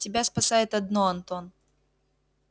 тебя спасает одно антон